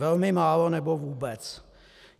Velmi málo nebo vůbec.